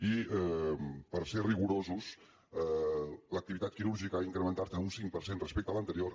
i per ser rigorosos l’activitat quirúrgica ha incrementat un cinc per cent respecte a l’anterior